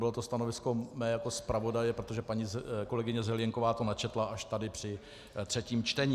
Bylo to stanovisko mé jako zpravodaje, protože paní kolegyně Zelienková to načetla až tady při třetím čtení.